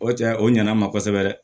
O cɛ o ɲana n ma kosɛbɛ dɛ